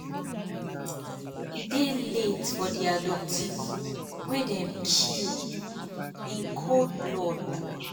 "e dey late for di abductees wey dem kill in um cold blood.